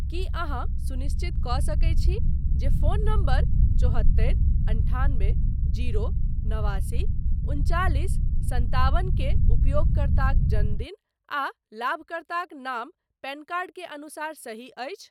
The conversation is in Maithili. की अहाँ सुनिश्चित कऽ सकैत छी जे फोन नंबर चौहत्तरि अन्ठान्बे जीरो नवासी उन्चालिस संताबन के उपयोगकर्ताक जन्मदिन आ लाभकर्ताक नाम पैन कार्ड के अनुसार सही अछि।